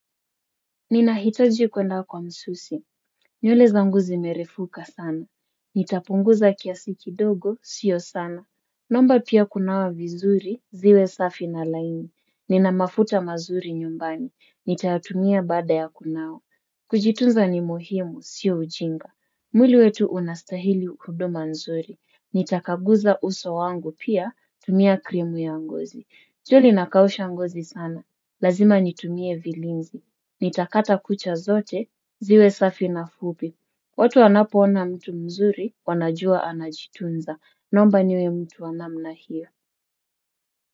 Ninahitaji kuenda kwa msusi. Nywele zangu zimerefuka sana. Nitapunguza kiasi kidogo, sio sana. Naomba pia kunawa vizuri, ziwe safi na laini. Nina mafuta mazuri nyumbani. Nitayatumia baada ya kunawa. Kujitunza ni muhimu, sio ujinga. Mwili wetu unastahili huduma nzuri. Nitakaguza uso wangu pia, tumia krimu ya ngozi. Joli inakausha ngozi sana. Lazima nitumie vilinzi. Nitakata kucha zote, ziwe safi na fupi. Watu wanapoona mtu mzuri, wanajua anajitunza. Naomba niwe mtu wa namna hiyo.